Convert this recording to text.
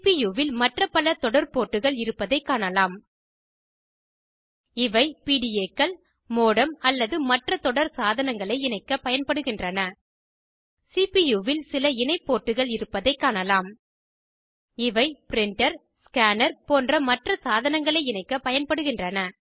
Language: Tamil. சிபியூவில் மற்ற பல தொடர் போர்ட்டுகள் இருப்பதைக் காணலாம் இவை PDAகள் மோடம் அல்லது மற்ற தொடர் சாதனங்களை இணைக்கப் பயன்படுகின்றன சிபியூவில் சில இணை போர்ட்டுகள் இருப்பதையும் காணலாம் இவை ப்ரிண்டர் ஸ்கேனர் போன்ற மற்ற சாதனங்களை இணைக்கப் பயன்படுகின்றன